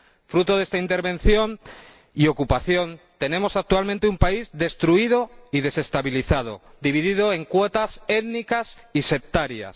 Fruto de esta intervención y ocupación, tenemos actualmente un país destruido y desestabilizado, dividido en cuotas étnicas y sectarias.